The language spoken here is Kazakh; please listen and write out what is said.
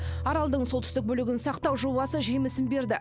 аралдың солтүстік бөлігін сақтау жобасы жемісін берді